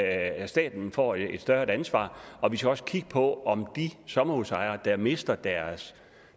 at staten får et større ansvar og vi skal også kigge på om de sommerhusejere der mister deres